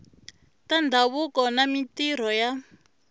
ta ndhavuko na mintirho ya